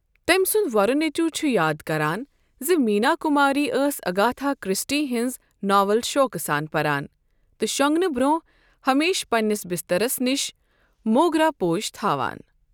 تٔمۍ سُند وۄرٕ نیٚچُو چھُ یاد كران زِ مینا کُماری ٲس اگاتھا کرسٹی ہٕنز ناول شوقہٕ سان پران تہٕ شۄنٛگنہٕ برٛونٛہہ ہمیشہٕ پنٛنس بسترس نِش موگرا پوش تھاوان۔